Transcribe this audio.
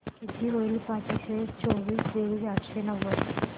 किती होईल पाचशे चोवीस बेरीज आठशे नव्वद